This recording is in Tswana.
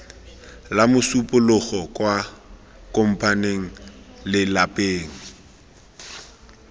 la mosupologo kwa kopmane lelapeng